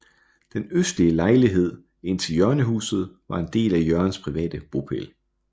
Den østlige lejlighed indtil hjørnehuset var en del af Jørgens private bopæl